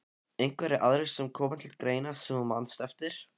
Einhverjir aðrir sem koma til greina sem þú manst eftir?